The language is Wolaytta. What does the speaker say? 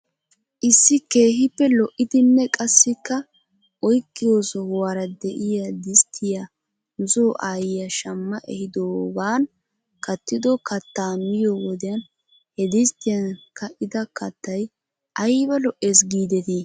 Issi keehippe lo'idinne qassikka oyqqiyo sohuwaara de'iyaa disttiyaa nuso aayiyaa shamma ehiidoogan kattido kattaa miyo wodiyan he disttiyan ka'ida kattay aybba lo'ees giidetii?